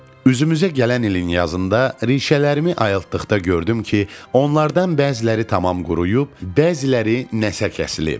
Üzümüzə gələn ilin yazında rişələrimi ayıltdıqda gördüm ki, onlardan bəziləri tamam quruyub, bəziləri nəsə kəsilib.